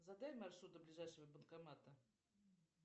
задай маршрут до ближайшего банкомата